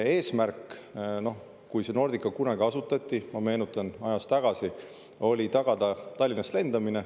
Eesmärk, kui Nordica kunagi asutati, ma meenutan, oli tagada Tallinnast lendamine.